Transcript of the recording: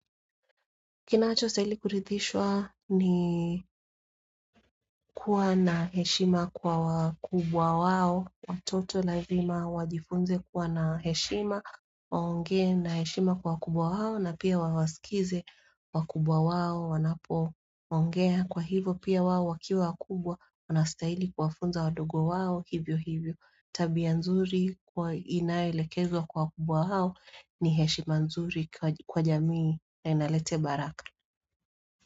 Kinacho stahili kurithishwa ni kuwa na heshima kwa wakubwa wao. Watoto lazima wajifunze kuwa na heshima, waongee na heshima kwa wakubwa wao na pia wawaskize wakubwa wao, wanapo ongea kwa hivyo. Kwa hivyo pia wao wakiwa wakubwa, wana staili kuwafunza wadogo wao hivyo hivyo. Tabia nzuri inayoelekezwa kwa wakubwa wao ni heshima nzuri kwa jamii na inalete baraka.